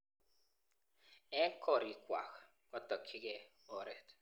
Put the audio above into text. Eng gorik kwak kotokyigei oreet